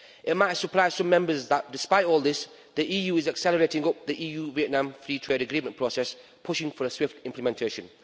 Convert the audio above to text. It might surprise Members that despite all this, the EU is accelerating the EU Vietnam Free Trade Agreement process, pushing for a swift implementation.